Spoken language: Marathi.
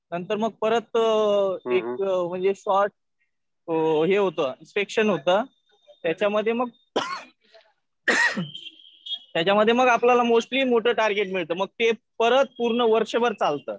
नंतर मग परत एक म्हणजे सॉर्ट हे होतं इन्स्पेक्शन होतं. त्याच्यामध्ये मग ing त्याच्यामध्ये मग त्याच्यामध्ये मोस्टली आपल्याला मोठं टार्गेट मिळतं. ते परत पूर्ण वर्षभर चालतं.